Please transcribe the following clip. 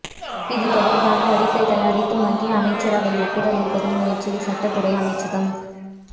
இது தொடர்பாக அறிக்கை தயாரித்து மத்திய அமைச்சரவை ஒப்புதலை பெறும் முயற்சியில் சட்டத்துறை அமைச்சகம்